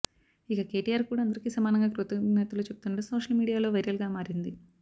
ఇక కేటీఆర్ కూడా అందరికి సమానంగా కృతజ్ఞతలు చెబుతుండడం సోషల్ మీడియాలో వైరల్ గా మారింది